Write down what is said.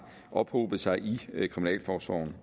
ophobet sig i kriminalforsorgen